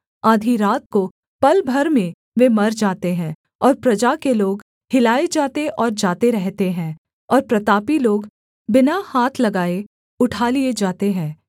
आधी रात को पल भर में वे मर जाते हैं और प्रजा के लोग हिलाए जाते और जाते रहते हैं और प्रतापी लोग बिना हाथ लगाए उठा लिए जाते हैं